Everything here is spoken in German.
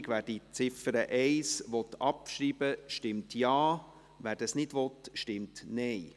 Wer diesen annimmt, stimmt Ja, wer die Abschreibung ablehnt, stimmt Nein.